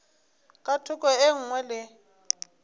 ka thoko e nngwe le